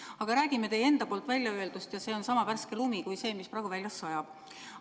Aga räägime teie enda väljaöeldust ja see on sama värske lumi kui see, mis praegu väljas sajab.